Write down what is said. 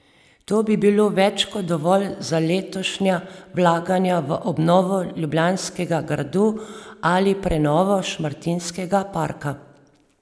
To bi bilo več kot dovolj za letošnja vlaganja v obnovo ljubljanskega gradu ali prenovo Šmartinskega parka.